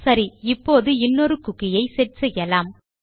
சரி இப்போது இன்னொரு குக்கி ஐ செட் செய்யலாம்